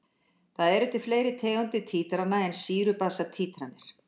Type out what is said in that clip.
Það eru til fleiri tegundir títrana en sýru-basa títranir.